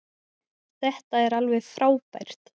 Þetta er alveg frábært.